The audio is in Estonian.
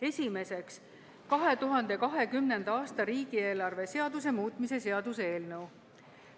Esiteks, 2020. aasta riigieelarve seaduse muutmise seaduse eelnõu.